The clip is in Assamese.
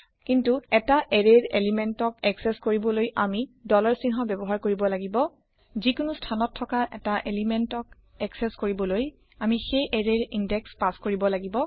কিন্তু এটা এৰেয়ৰ পদাৰ্থক একচেস কৰিবলৈ আমি চিহ্ন ব্যৱহাৰ কৰিব লাগিব যিকোনো স্থানত থকা এটা পদাৰ্থক একচেস কৰিবলৈ আমি সেই এৰেয়ৰ ইন্দেশ পাচ কৰিব লাগিব